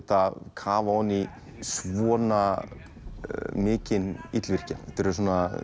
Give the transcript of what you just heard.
kafa ofan í svona mikinn illvirkja þetta eru